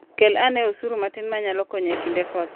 Kel ane osuri matin ma nyalo konyo e kinde koth.